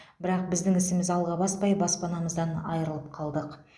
бірақ біздің ісіміз алға баспай баспанамыздан айырылып қалдық